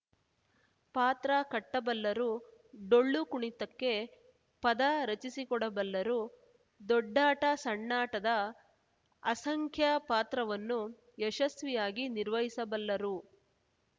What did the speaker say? ಪಾತ್ರ ಕಟ್ಟಬಲ್ಲರು ಡೊಳ್ಳು ಕುಣಿತಕ್ಕೆ ಪದ ರಚಿಸಿಕೊಡಬಲ್ಲರು ದೊಡ್ಡಾಟ ಸಣ್ಣಾಟದ ಅಸಂಖ್ಯ ಪಾತ್ರವನ್ನು ಯಶಸ್ವಿಯಾಗಿ ನಿರ್ವಹಿಸಬಲ್ಲರು